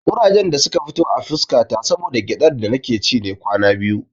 Ƙurajen da suka fito a fuska ta saboda gyaɗar da nake ci ne kwana biyu.